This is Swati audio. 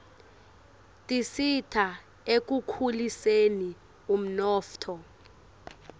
tisita ekukhuliseni umnotfo